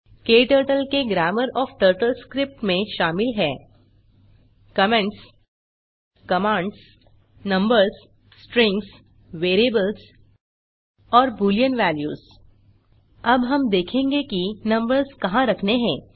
क्टर्टल के grammar of TurtleScript में शामिल हैं comments commands numbers strings variables variables और बूलियन valuesबूलियन वेल्यूस अब हम देखेंगे कि नंबर्स कहाँ रखने हैं